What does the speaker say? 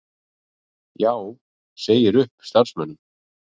Já segir upp starfsmönnum